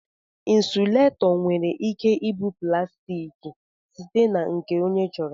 Insuletọ nwere ike ịbụ plaastiki site na nke onye chọrọ.